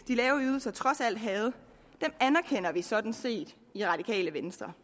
de lave ydelser trods alt havde anerkender vi sådan set i radikale venstre